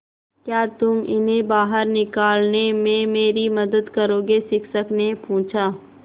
क्या तुम इन्हें बाहर निकालने में मेरी मदद करोगे शिक्षक ने पूछा